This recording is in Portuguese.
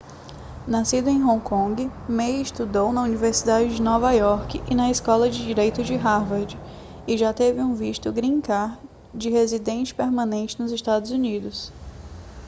nascido em hong kong ma estudou na universidade de nova iorque e na escola de direito de harvard e já teve um visto green card de residente permanente nos estados unidos